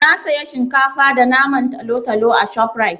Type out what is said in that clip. Na saya shinkafa da naman talotalo a ShopRite.